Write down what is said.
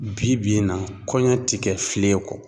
Bi bi in na ,kɔɲɔ ti kɛ filen kɔ